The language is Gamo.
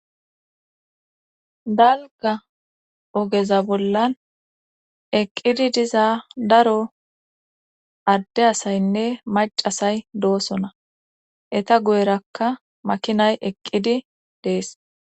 Dalga ogeza bollan eqqidi diza daro adde asayinne macasay doosona. Eta guyerakka makinay eqqidi dees.